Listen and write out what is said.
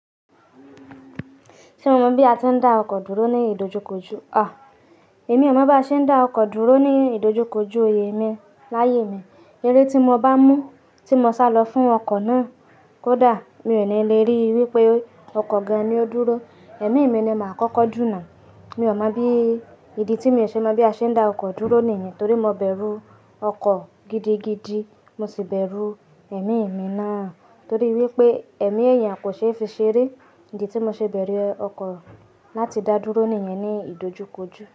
Ṣé mo mọ bí a ti ń dá ọkọ̀ dúró ní ìdojúkojú? Ọ, èmi ò mọ bí a ṣe ń dá ọkọ̀ dúró ní ìdojúkojú oyè mi láyé mi. Eré tí mo bá mú tí mo sá lọ fún ọkọ̀ náà kódà mi ò ní lè rí wípé ọkọ̀ gan-an ni ó dúró. Ẹ̀mí mi ni màá kọ́kọ́ dù nà. Mi ò mọ bí, ìdí tí mi ò ṣe mọ bí a ṣe ń dá ọkọ̀ dúró nìyẹn torí mo bẹ̀rù ọkọ̀ gidigidi. Mo sì bẹ̀rù ẹ̀mí mi náà torí wípé ẹ̀mí èèyàn kò ṣe é fi ṣeré. Ìdí tí mo ṣe bẹ̀rù ọkọ̀ láti dá dúró nìyẹn ní ìdojúkojú.